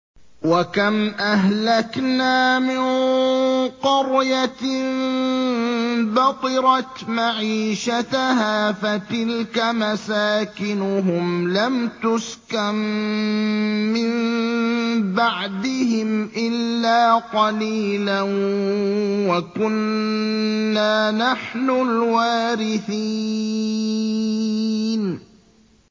وَكَمْ أَهْلَكْنَا مِن قَرْيَةٍ بَطِرَتْ مَعِيشَتَهَا ۖ فَتِلْكَ مَسَاكِنُهُمْ لَمْ تُسْكَن مِّن بَعْدِهِمْ إِلَّا قَلِيلًا ۖ وَكُنَّا نَحْنُ الْوَارِثِينَ